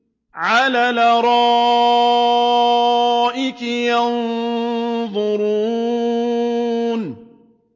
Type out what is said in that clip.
عَلَى الْأَرَائِكِ يَنظُرُونَ